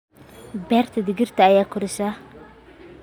Beerta digirta ayaa koraysa.